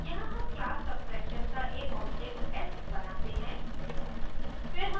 यहाँ हम class subtraction का एक object s बनाते हैं